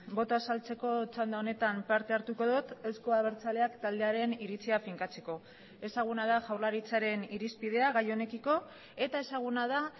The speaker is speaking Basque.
botoa azaltzeko txanda honetan parte hartuko dut euzko abertzaleak taldearen iritzia finkatzeko ezaguna da jaurlaritzaren irizpidea gai honekiko eta ezaguna da